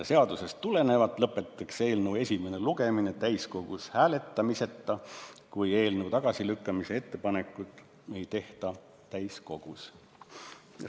Seadusest tulenevalt lõpetatakse eelnõu esimene lugemine täiskogus hääletamiseta, kui eelnõu tagasilükkamise ettepanekut täiskogus ei tehta.